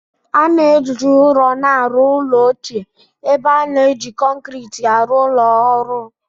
A na-eji ụrọ na-arụ ụlọ ochie ebe a na-eji kọnkirịtị arụ ụlọ ọhụrụ